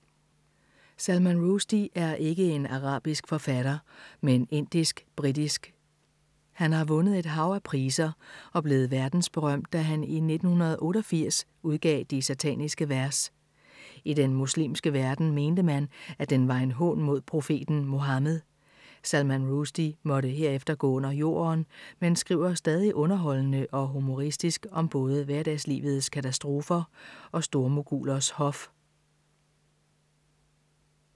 Salman Rushdie er ikke en arabisk forfatter, men indisk-britisk. Han har vundet et hav af priser og blev verdensberømt, da han i 1988 udgav De sataniske vers. I den muslimske verden mente man, at den var en hån mod profeten Muhammed. Salman Rushdie måtte herefter gå under jorden, men skriver stadig underholdende og humoristisk om både hverdagslivets katastrofer og stormogulers hof.